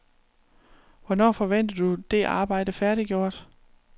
Hvornår forventer du det arbejde færdiggjort?